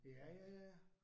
Ja ja ja ja